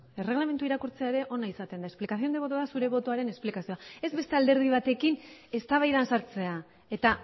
erreglamendua irakurtzea ere ona izaten da explicación de voto da zure botoaren esplikazioa ez beste alderdi batekin eztabaidan sartzea eta